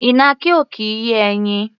Ìnàkí ò kì í yé ẹyin.